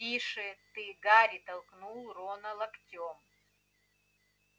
тише ты гарри толкнул рона локтем